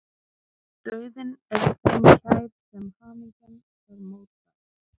Dauðinn er þeim kær sem hamingjan er mótbær.